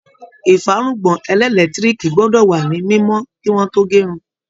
Ìfárùngbọ̀n ẹlẹ́lẹtiriki gbọ́dọ̀ wá ni mímó ki wọn to gérun